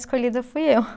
Escolhida fui eu